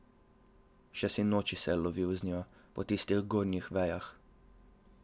Še sinoči se je lovil z Njo po tistih gornjih vejah.